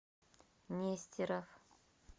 нестеров